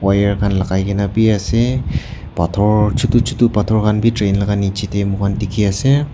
wire khan lakai kena beh ase bator chutu chutu bator khan beh train la nejey tey moi khan dekhe ase.